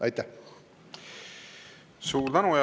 Suur tänu!